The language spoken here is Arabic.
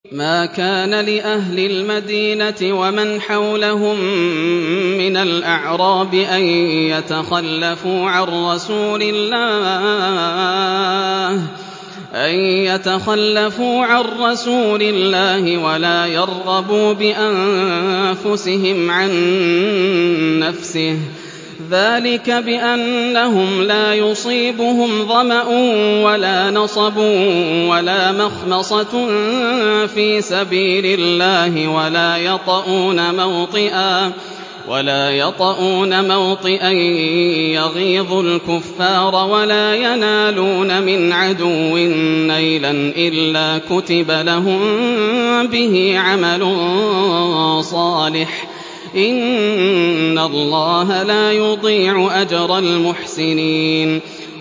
مَا كَانَ لِأَهْلِ الْمَدِينَةِ وَمَنْ حَوْلَهُم مِّنَ الْأَعْرَابِ أَن يَتَخَلَّفُوا عَن رَّسُولِ اللَّهِ وَلَا يَرْغَبُوا بِأَنفُسِهِمْ عَن نَّفْسِهِ ۚ ذَٰلِكَ بِأَنَّهُمْ لَا يُصِيبُهُمْ ظَمَأٌ وَلَا نَصَبٌ وَلَا مَخْمَصَةٌ فِي سَبِيلِ اللَّهِ وَلَا يَطَئُونَ مَوْطِئًا يَغِيظُ الْكُفَّارَ وَلَا يَنَالُونَ مِنْ عَدُوٍّ نَّيْلًا إِلَّا كُتِبَ لَهُم بِهِ عَمَلٌ صَالِحٌ ۚ إِنَّ اللَّهَ لَا يُضِيعُ أَجْرَ الْمُحْسِنِينَ